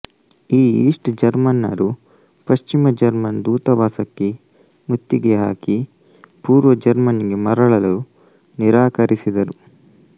ಈ ಈಸ್ಟ್ ಜರ್ಮನರು ಪಶ್ಚಿಮ ಜರ್ಮನ್ ದೂತಾವಾಸಕ್ಕೆ ಮುತ್ತಿಗೆ ಹಾಕಿ ಪೂರ್ವ ಜರ್ಮನಿಗೆ ಮರಳಲು ನಿರಾಕರಿಸಿದರು